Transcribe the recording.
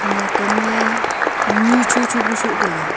ya kam mey ni cho cho pa soh taiga.